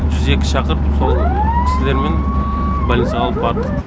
жүз екі шақырып сол кісілермен больницаға алып бардық